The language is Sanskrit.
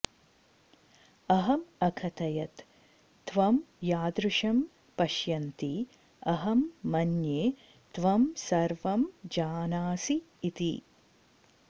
अहं अकथयत् त्वं यादृशं पश्यन्ति अहं मन्ये त्वं सर्वं जानासि इति